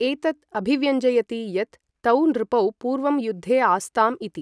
एतत् अभिव्यञ्जयति यत् तौ नृपौ पूर्वं युद्धे आस्ताम् इति।